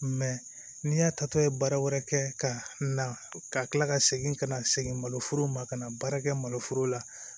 n'i y'a tatɔ ye baara wɛrɛ kɛ ka na ka kila ka segin ka na se maloforo ma ka na baara kɛ maloforo la